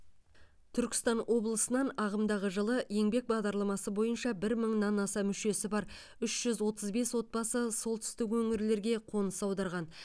түркістан облысынан ағымдағы жылы еңбек бағдарламасы бойынша бір мыңнан аса мүшесі бар үш жүз отыз бес отбасы солтүстік өңірлерге қоныс аударған